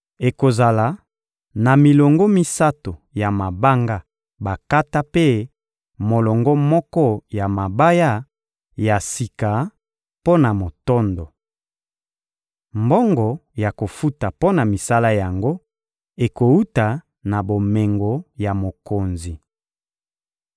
Ekozala na milongo misato ya mabanga bakata mpe molongo moko ya mabaya ya sika mpo na motondo. Mbongo ya kofuta mpo na misala yango ekowuta na bomengo ya mokonzi.